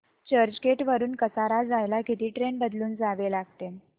चर्चगेट वरून कसारा जायला किती ट्रेन बदलून जावे लागेल